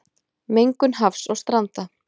Mengun hafs og stranda